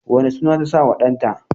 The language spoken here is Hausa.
wane suna ta sa wa ɗan ta?